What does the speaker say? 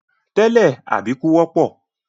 Tẹ́lẹ̀, àbíkú wọ́pọ̀.